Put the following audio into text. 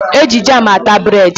Eji jamu ata bred.